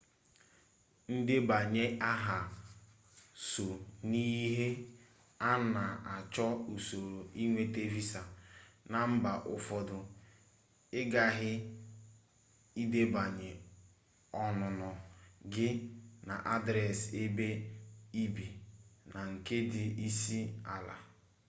ndebanye aha so n'ihe a na-achọ n'usoro ịnweta visa na mba ụfọdụ ị ghaghị ịdebanye ọnụnọ gị na adresi ebe i bi na nke ndị isi ala